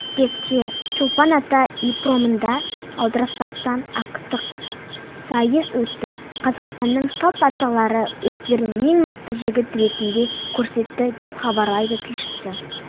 қыркүйекте чолпан ата ипподромында аударыспақтан ақтық сайыс өтті қазақстанның салт аттылары өздерін ең мықты жігіт ретінде көрсетті деп хабарлайды тілшісі